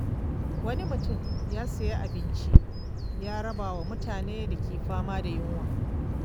Wani mutum ya sayi abinci ya raba wa mutanen da ke fama da yunwa.